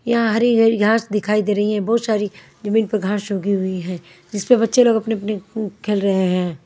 यहां हरी हरी घास दिखाई दे रही है बहुत सारी जमीन पर घांस सूगी हुई है जिस पर बच्चे लोग अपने-अपने खेल रहे हैं।